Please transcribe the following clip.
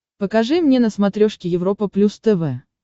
покажи мне на смотрешке европа плюс тв